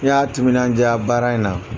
N'a y'a timinandiya baara in na